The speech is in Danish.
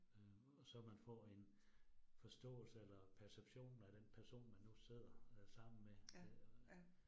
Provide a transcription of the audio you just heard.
Øh og så man får en forståelse eller perception af den person, man nu sidder øh sammen med øh